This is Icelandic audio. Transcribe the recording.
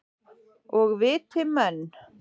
Og viti menn.